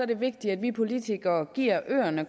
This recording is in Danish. det vigtigt at vi politikere giver øerne